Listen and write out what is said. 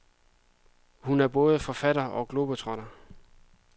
Hun er både forfatter og globetrotter.